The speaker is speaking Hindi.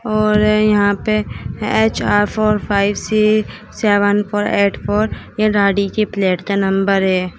और यहां पे H R four five C seven four eight four ये गाड़ी के प्लेट का नंबर है।